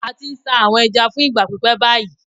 A ti n sa awọn ẹja fun igba pipẹ bayi